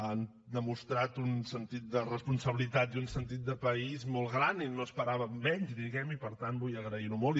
han demostrat un sentit de responsabilitat i un sentit de país molt grans i no esperàvem menys diguem ne i per tant vull agrair ho molt